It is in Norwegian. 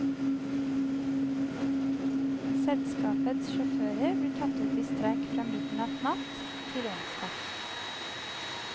Selskapets sjåfører blir tatt ut i streik fra midnatt natt til onsdag.